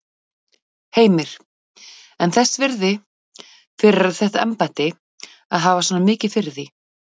Heimir: En þess virði fyrir þetta embætti að hafa svona mikið fyrir því?